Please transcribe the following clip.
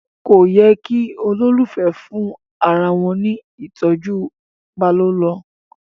kọ yé kí ololufẹ fún arawọn ní ìtọjú ipalọlọ